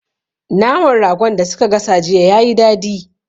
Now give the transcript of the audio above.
Naman Ragon da su ka gasa jiya yayi dadi